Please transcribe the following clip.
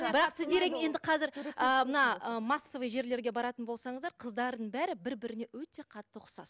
бірақ сіздер енді қазір ыыы мына массовый жерлерге баратын болсаңыздар қыздардың бәрі бір біріне өте қатты ұқсас